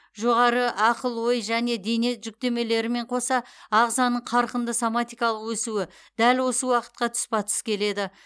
жоғары ақыл ой және дене жүктемелерімен қоса ағзаның қарқынды соматикалық өсуі дәл осы уақытқа тұспа тұс келеді